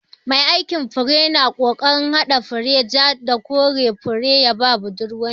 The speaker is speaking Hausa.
Mai aikin fure na kokarin hada fari, ja, da koren fure ya ba budurwar shi.